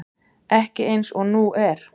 Ekki eins og nú er.